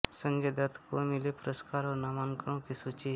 संजय दत्त को मिले पुरस्कार और नामांकनों की सूची